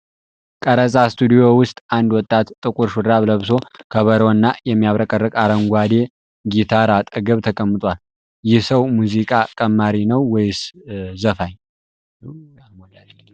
ቀረጻ ስቱዲዮ ውስጥ አንድ ወጣት ጥቁር ሹራብ ለብሶ ከበሮና የሚያብረቀርቅ አረንጓዴ ጊታር አጠገብ ተቀምጧል። ይህ ሰው ሙዚቃ ቀማሪ ነው ወይስ ዘፋኝ?